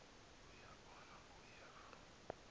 uya bona uyeva